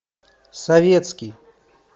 советский